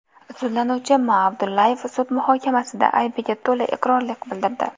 Sudlanuvchi M. Abdullayev sud muhokamasida aybiga to‘la iqrorlik bildirdi.